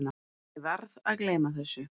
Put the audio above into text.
Ég verð að gleyma þessu.